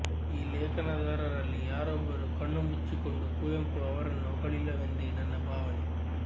ಈ ಲೇಖನದಾರರಲ್ಲಿ ಯಾರೊಬ್ಬರೂ ಕಣ್ಣು ಮುಚ್ಚಿಕೊಂಡು ಕುವೆಂಪು ಅವರನ್ನು ಹೊಗಳಿಲ್ಲವೆಂದೇ ನನ್ನ ಭಾವನೆ